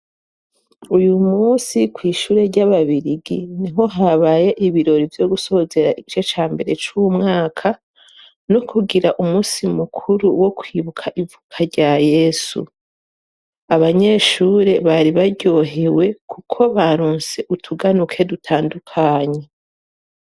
uyu munsi kwihure ryababirigi niho habaye ibirori vyo gusozera igice cambere cumwaka no kugira umunsi mukuru wo kwibuka ivuka rya yesu abanyeshuri bari baryohewe kuko barunse utuganuke dutandukanye